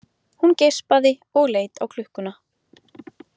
Hún geispaði og leit á klukkuna.